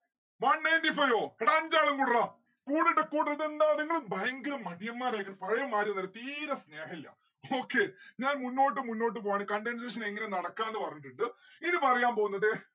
one ninety five ഓ എടാ അഞ്ചാളു കൂടെട്ര കൂടെടാ കൂടെടാ ഇതെന്താ നിങ്ങള് ഭയങ്കര മടിയന്മാരായിക്ക് ന്ന്‌ പഴയമാതിരി ഒന്ന്വല്ല തീരെ സ്നേഹില്ല okay ഞാൻ മുന്നോട്ട് മുന്നോട്ട് പോവാണ്‌ condensation എങ്ങനെ നടക്കാന്ന് പറഞ്ഞിട്ടിണ്ട് ഇനി പറയാൻ പോന്നത്